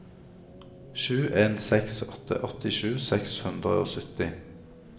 sju en seks åtte åttisju seks hundre og sytti